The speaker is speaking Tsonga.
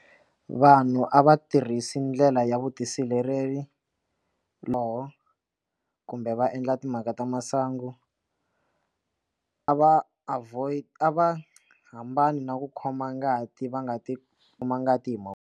Vanhu a va tirhisi ndlela ya vutisireleri lowo kumbe va endla timhaka ta masangu a va avoid a va hambana na ku khoma ngati va nga ti kuma ngati hi mavoko.